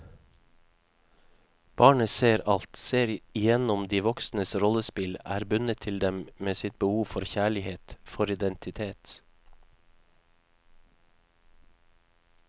Barnet ser alt, ser igjennom de voksnes rollespill, er bundet til dem med sitt behov for kjærlighet, for identitet.